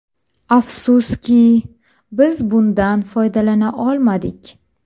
Afsuski, biz bundan foydalana olmadik.